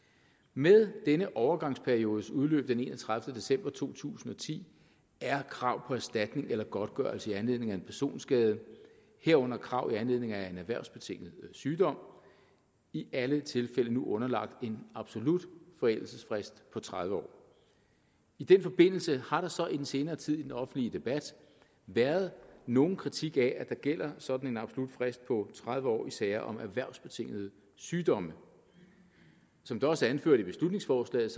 med denne overgangsperiodes udløb den enogtredivete december to tusind og ti er krav på erstatning eller godtgørelse i anledning af en personskade herunder krav i anledning af en erhvervsbetinget sygdom i alle tilfælde nu underlagt en absolut forældelsesfrist på tredive år i den forbindelse har der så i den senere tid i den offentlige debat været nogen kritik af at der gælder sådan absolut frist på tredive år i sager om erhvervsbetingede sygdomme som det også er anført i beslutningsforslaget